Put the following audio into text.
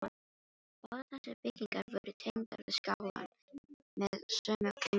Báðar þessar byggingar voru tengdar við skálann með sömu göngunum.